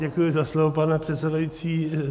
Děkuji za slovo, pane předsedající.